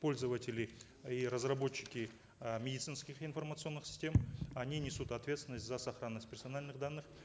пользователи и разработчики э медицинских информационных систем они несут ответственность за сохранность персональных данных